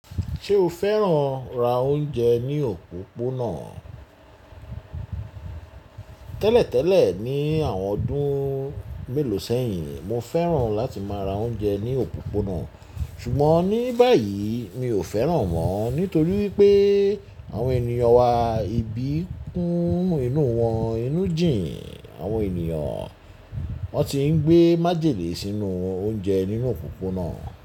Ṣé o fẹ́ràn ra oúnjẹ ní òpópónà? Tẹ́lẹ̀tẹ́lẹ̀ ní àwọn ọdún mélòó sẹ́yìn, mo fẹ́ràn láti máa ra oúnjẹ ní òpópónà ṣùgbọ́n ní báyìí mi ò fẹ́ràn mọ́ nítorí pé àwọn ènìyàn wa ibi kún inú wọn inú jìn. Àwọn ènìyàn wọn ti ń gbé májèlé sínú oúnjẹ nínú òpópónà.